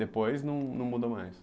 Depois não não mudou mais?